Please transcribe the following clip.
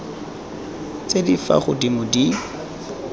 tse di fa godimo di